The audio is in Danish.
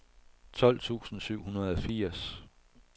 tolv tusind syv hundrede og firs